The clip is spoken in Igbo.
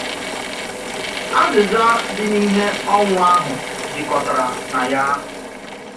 Azịza dị n’ihe ọnwụ ahụ jikọtara na ya.